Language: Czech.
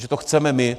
Že to chceme my.